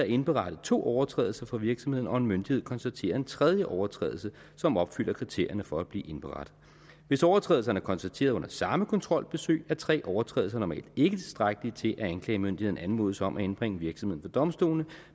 indberettet to overtrædelser for virksomheden og en myndighed konstaterer en tredje overtrædelse som opfylder kriterierne for at blive indberettet hvis overtrædelserne er konstateret under samme kontrolbesøg er tre overtrædelser normalt ikke tilstrækkeligt til at anklagemyndigheden anmodes om at indbringe virksomheden for domstolene